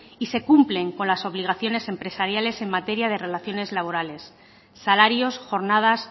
y se cumplen con las obligaciones empresariales en materia de relaciones labores salarios jornadas